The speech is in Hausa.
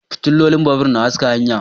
Fitilolin babur na haska hanya